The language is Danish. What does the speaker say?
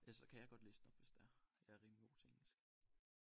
Ja så kan jeg godt læse den op hvis det er jeg er rimelig god til engelsk